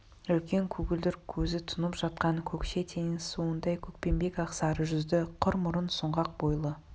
үлкен көгілдір көзі тұнып жатқан көкше теңіз суындай көкпеңбек ақсары жүзді қыр мұрын сұңғақ бойлы